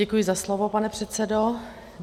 Děkuji za slovo, pane předsedo.